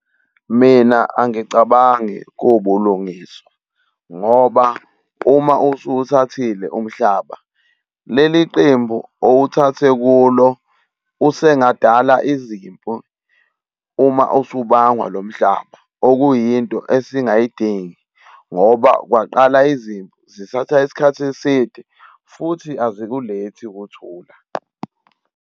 Mina angicabangi kuwubulungiswa, ngoba uma usuwuthathile umhlaba, leli qembu owuthathe kulo usengadala izimpi uma usubangwa lo mhlaba, okuyinto esingayidingi, ngoba kwaqala izimpi zithatha isikhathi eside futhi azikulethi ukuthula.